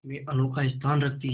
में अनोखा स्थान रखती है